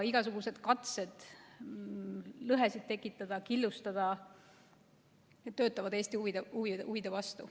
Igasugused katsed lõhesid tekitada ja killustada töötavad Eesti huvide vastu.